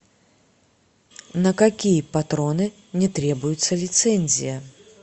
на какие патроны не требуется лицензия